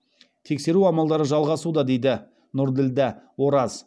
тексеру амалдары жалғасуда дейді нұрділдә ораз